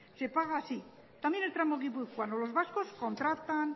se paga así también el tramo guipuzcoano los vascos contratan